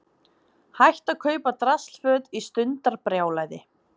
Hætt að kaupa draslföt í stundarbrjálæði